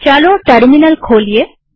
ચાલો ટર્મિનલ ખોલીએ